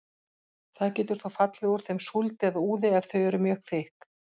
Það getur þó fallið úr þeim súld eða úði ef þau eru mjög þykk.